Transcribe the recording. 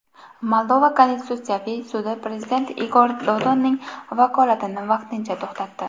Moldova konstitutsiyaviy sudi prezident Igor Dodonning vakolatini vaqtincha to‘xtatdi.